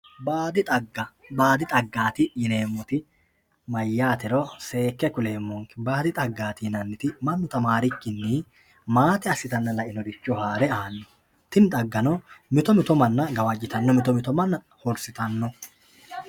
baadi dhagga baadi dhaggaati yineemoti mayaatero seeke kuleemonke baadi dhaggaati yinanniti mannu tamaarikinni maate assitanna la"inoricho haare aanno tini dhaggano mitomito manna gawajjitanno mitomito manna hursitanno